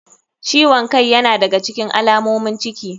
Ciwon kai yana daga alamomin ciki.